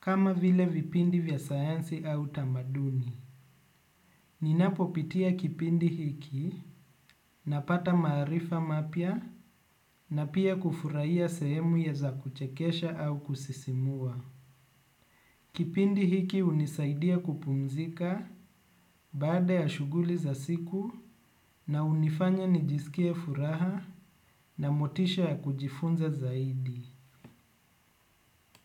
kama vile vipindi vya sayansi au tamaduni. Ninapopitia kipindi hiki napata maarifa mapya na pia kufurahia sehemu ya za kuchekesha au kusisimua. Kipindi hiki unisaidia kupumzika baada ya shughuli za siku na unifanya nijisikie furaha na motisha ya kujifunza zaidi.